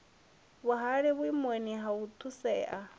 huvhale vhuimoni ha u thusea